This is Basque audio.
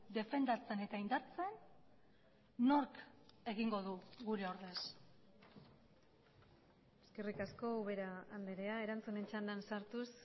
defendatzen eta indartzen nork egingo du gure ordez eskerrik asko ubera andrea erantzunen txandan sartuz